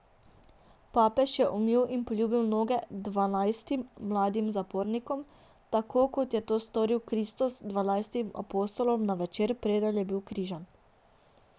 Papež je umil in poljubil noge dvanajstim mladim zapornikom, tako kot je to storil Kristus dvanajstim apostolom na večer, preden je bil križan.